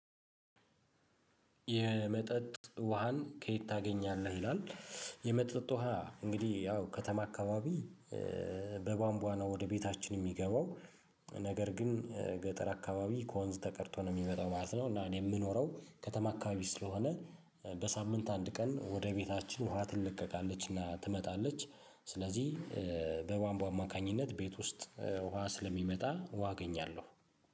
የመጠጥ ውሃን ከየት ታገኛለህ ይላል? የመጠጥ ውሃ እንግዲህ ያው ከተማ አካባቢ በባንቧ ነው ወደ ቤታችን ሚገባው። ነገር ግን ገጠር አካባቢ ከወንዝ ተቀድቶ ነው ሚመጣው ማለት ነው። እና እኔ ምኖረው ከተማ አካባቢ ስለሆነ በሳምንት አንድ ቀን ወደ ቤታችን ውሃ ትለቀቃለችና ትመጣለች። ስለዚህ በባንቧ አማካኝነት ቤት ውስጥ ውሃ ስለሚመጣ ውሃ አገኛለሁ